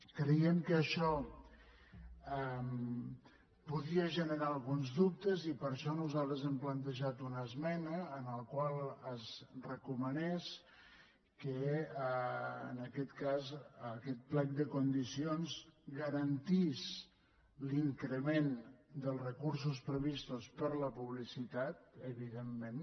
creiem que això podia generar alguns dubtes i per això nosaltres hem plantejat una esmena en la qual es recomanés que en aquest cas aquest plec de condicions garantís l’increment dels recursos previstos per a la publicitat evidentment